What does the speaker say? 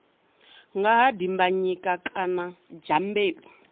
nga ha dimbanyika kana dyambeu